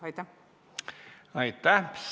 Aitäh!